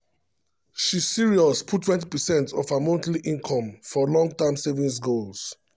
she serious put 20 percent of her monthly income for long-term savings goals.